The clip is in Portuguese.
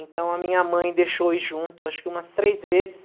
Então, a minha mãe deixou ir junto, acho que umas três vezes.